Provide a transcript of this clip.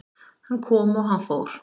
Hann kom og hann fór